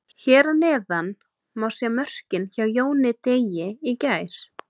Hér að neðan má sjá mörkin hjá Jóni Degi í gær.